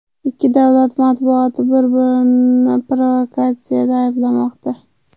Ikki davlat matbuoti bir-birini provokatsiyada ayblamoqda .